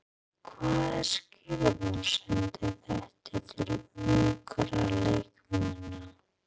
Hvaða skilaboð sendir þetta til ungra leikmanna?